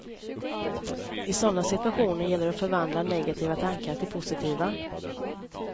I sådana situationer gäller det att förvandla negativa tankar till positiva.